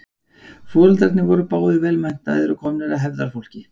Foreldrarnir voru báðir vel menntaðir og komnir af hefðarfólki.